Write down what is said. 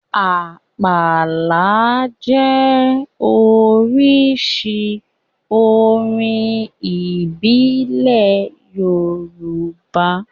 Àpàlà jẹ́ oríṣi orin ìbílẹ̀ Yorùbá.